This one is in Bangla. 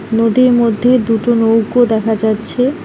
নদীর মধ্যে দুটো নৌকো দেখা যাচ্ছে।